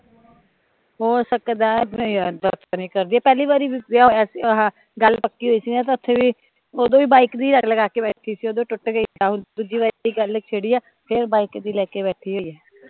ਹੋ ਸਕਦਾ ਐ, ਨਹੀਂ ਯਾਰ ਏਦਾਂ ਤਾਂ ਨੀ ਕਰਦੀ, ਪਹਿਲੀ ਵਾਰੀ ਵੀ ਵਿਆਹ ਹੋਇਆ ਸੀ ਆਹ ਗੱਲ ਪੱਕੀ ਹੋਈ ਸੀ ਨਾ ਤਾਂ ਓਦੋ ਵੀ ਬੀਕੇ ਦੀ ਰਟ ਲਗਾ ਕੇ ਬੈਠੀ ਸੀ, ਓਦੋਂ ਟੁੱਟ ਗਈ ਹੁਣ ਦੂਜੀ ਵਾਰ ਗੱਲ ਛਿੜੀ ਆ ਫੇਰ ਬਾਈਕ ਦੀ ਲੈ ਕੇ ਬੈਠੀ ਹੋਈ ਏ